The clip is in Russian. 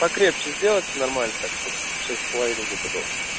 покрепче сделать нормально так чтобы шесть с половиной где-то был